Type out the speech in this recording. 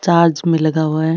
चार्ज में लगा हुआ है।